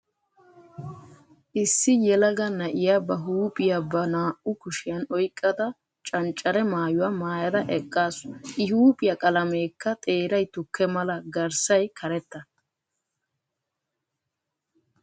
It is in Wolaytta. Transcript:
Issi yelaga na'iya ba huuphphiya ba naa"u kushiyan oyqada canccare maayuwa maayada eqaasu. I huuphphiya qalameekka xeeray tukke mala garssay karetta.